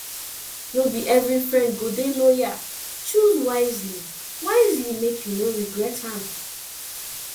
no be every friend go dey loyal choose wisely wisely make you no regret am